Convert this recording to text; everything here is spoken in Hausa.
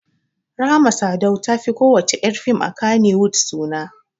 Rahma Sadau ta fi ko wacce ƴar fim a Kannywood suna